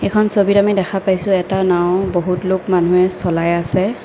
এইখন ছবিত আমি দেখা পাইছোঁ এটা নাওঁ বহুত লোক মানুহে চলাই আছে।